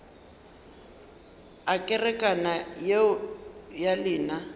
a kerekana yeo ya lena